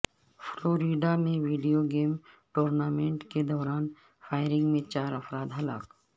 Florida میں video game tournament کے دوران فائرنگ میں چار افراد ہلاک